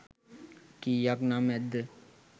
කීයක් නම් ඇද්ද?